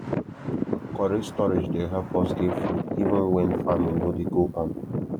correct storage dey help us get food even when farming no dey go on